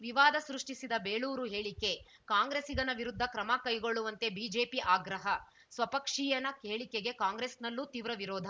ವಿವಾದ ಸೃಷ್ಟಿಸಿದ ಬೇಳೂರು ಹೇಳಿಕೆ ಕಾಂಗ್ರೆಸಿಗನ ವಿರುದ್ಧ ಕ್ರಮ ಕೈಗೊಳ್ಳುವಂತೆ ಬಿಜೆಪಿ ಆಗ್ರಹ ಸ್ವಪಕ್ಷೀಯನ ಹೇಳಿಕೆಗೆ ಕಾಂಗ್ರೆಸ್‌ನಲ್ಲೂ ತೀವ್ರ ವಿರೋಧ